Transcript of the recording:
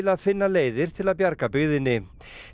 að finna leiðir til að bjarga byggðinni